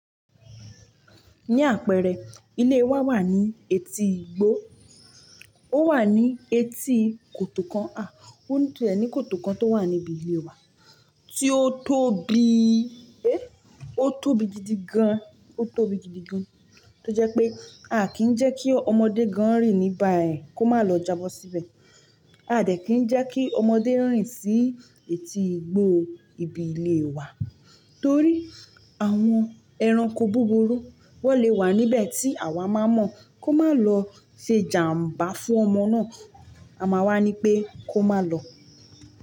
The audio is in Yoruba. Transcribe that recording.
Ní àpẹẹrẹ, ilé wa wà ní etí igbó. Ó wà ní etí kòtò kan, àh!, ó tie ní kòtò kan tó wà níbi ilé wa tí ó tóbi, ẹ́h, ó tóbi gidigan, ó tóbi gidigan. Tó jẹ́ pé a kì í jẹ́ kí ọmọdé gan rìn níbà ẹ̀ kó má lọ j'abọ síbẹ̀. A dẹ̀ kì í jẹ́ kí ọmọdé rìn sí etí igbó ibi ilé wa torí àwọn ẹranko búburú wọ́n lè wà níbẹ̀ tí àwa máa mọ̀ kó má lọ ṣe jàmbá fún ọmọ náà. Àma wa ní pé kó má lọ.